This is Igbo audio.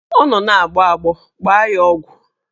Ọ nọ na-agbọ agbọ, gbaa ya ọgwụ!